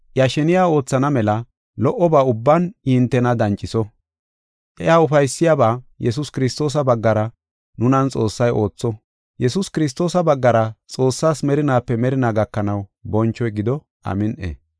iya sheniya oothana mela lo77oba ubban I hintena danciso. Iya ufaysiyabaa Yesuus Kiristoosa baggara nunan Xoossay ootho. Yesuus Kiristoosa baggara Xoossaas merinaape merinaa gakanaw bonchoy gido. Amin7i.